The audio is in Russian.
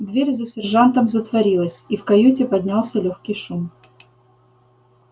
дверь за сержантом затворилась и в каюте поднялся лёгкий шум